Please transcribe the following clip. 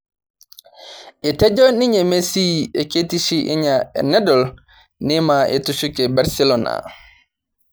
Etejo ninye Messi keitishi enye enedol Neima etushuke Barcelon